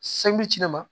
ci ne ma